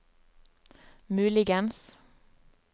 muligens